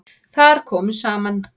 Þar komu saman